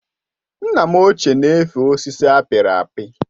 Nna m ochié na efe osisi apiri apị